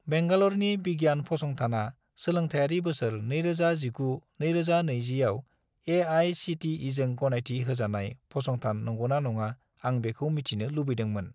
बेंगाल'रनि बिगियान फसंथानआ सोलोंथायारि बोसोर 2019 - 2020 आव ए.आइ.सि.टि.इ.जों गनायथि होजानाय फसंथान नंगौना नङा आं बेखौ मिथिनो लुबैदोंमोन।